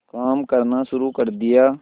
काम करना शुरू कर दिया